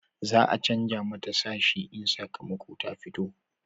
za a canja mata sashi in sakamakon ta ya fito